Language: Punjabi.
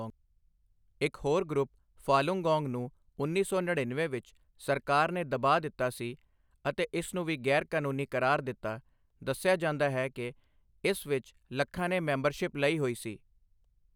ਇੱਕ ਹੋਰ ਗਰੁੱਪ, ਫਾਲੁੰਗੌਂਗ, ਨੂੰ ਉੱਨੀ ਸੌ ਨੜੀਨਵੇਂ ਵਿੱਚ ਸਰਕਾਰ ਨੇ ਦਬਾ ਦਿੱਤਾ ਸੀ ਅਤੇ ਇਸ ਨੂੰ ਵੀ ਗ਼ੈਰ ਕਾਨੂੰਨੀ ਕਰਾਰ ਦਿੱਤਾI ਦੱਸਿਆ ਜਾਂਦਾ ਹੈ ਕਿ ਇਸ ਵਿੱਚ ਲੱਖਾਂ ਨੇ ਮੈਂਬਰਸ਼ਿਪ ਲਈ ਹੋਈ ਸੀ I